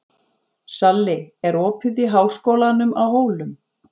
Salli, er opið í Háskólanum á Hólum?